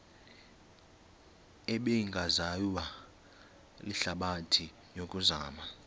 ebingaziwa lihlabathi yokuzama